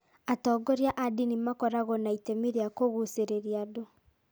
Atongoria a ndini makoragwo na itemi rĩa kũgucĩrĩria andũ.